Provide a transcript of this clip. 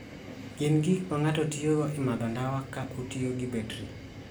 Gin gik ma ng'ato tiyogo e madho ndawa ka otiyo gi betri.